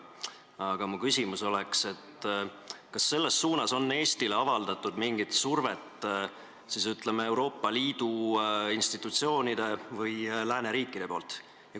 Aga minu küsimus: kas selles suunas on Eestile avaldanud mingit survet, ütleme, Euroopa Liidu institutsioonid või lääneriigid?